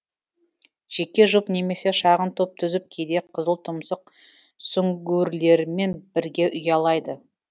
жеке жұп немесе шағын топ түзіп кейде қызылтұмсық сүңгуірлерімен бірге ұялайды